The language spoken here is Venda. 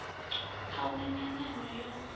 a hu na nyanano yo